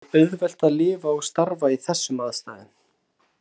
Það er ekki auðvelt að lifa og starfa í þessum aðstæðum.